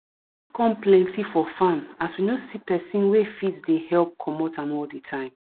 con plenty for farm as we no see pesin wey fit dey help commot am all the time